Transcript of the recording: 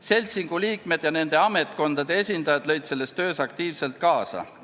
Seltsingu liikmed ja nende ametkondade esindajad lõid selles töös aktiivselt kaasa.